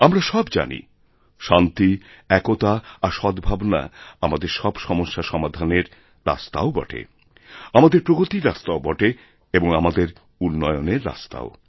আমরা সব জানি শান্তি একতা আর সদ্ভাবনা আমাদের সবসমস্যা সমাধানের রাস্তাও বটে আমাদের প্রগতির রাস্তাও বটে এবং আমদের উন্নয়নেররাস্তাও